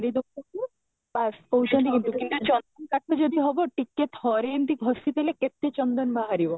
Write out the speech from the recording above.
ଏଇ ଦେଖୁଛୁ କହୁଛନ୍ତି କିନ୍ତୁ ଚନ୍ଦନ କାଠ ଯଦି ହବ ଟିକେ ଥରେ ଏମିତି ଘଷି ଦେଲେ କେତେ ଚନ୍ଦନ ବାହାରିବ